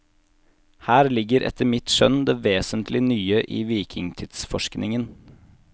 Her ligger etter mitt skjønn det vesentlig nye i vikingtidsforskningen.